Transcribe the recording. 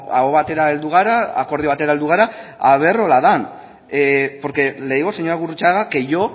aho batera heldu gara akordio batera heldu gara ea horrela den porque le digo señora gurrutxaga que yo